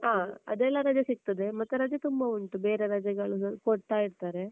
ಆ ಅದ್ ಎಲ್ಲ ರಜೆ ಸಿಗ್ತದೆ, ಮತ್ತೆ ರಜೆ ತುಂಬ ಉಂಟು ಬೇರೆ ರಜೆಗಳು ಕೊಡ್ತಾ ಇರ್ತಾರೆ.